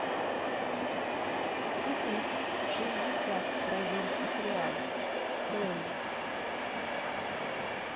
купить шестьдесят бразильских реалов стоимость